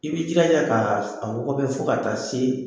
I b'i jilaja k'a wɔgɔbɛ fo ka taa se